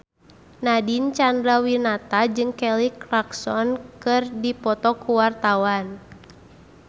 Nadine Chandrawinata jeung Kelly Clarkson keur dipoto ku wartawan